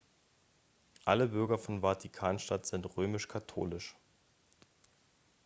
alle bürger von vatikan-stadt sind römisch-katholisch